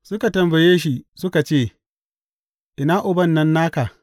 Suka tambaye shi suka ce, Ina Uban nan naka?